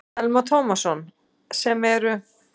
Telma Tómasson: Sem eru?